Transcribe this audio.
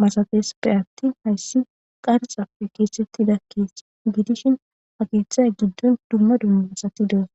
mastepeattin hayssi qarxappe keesetti dakke gidishin ha keeththaya giddon duma duma masati doas.